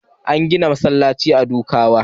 An gina masallacin a Dukawa.